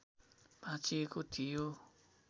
भाँचिएको थियो